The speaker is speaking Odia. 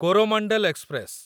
କୋରୋମଣ୍ଡଲ ଏକ୍ସପ୍ରେସ